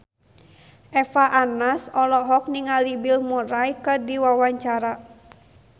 Eva Arnaz olohok ningali Bill Murray keur diwawancara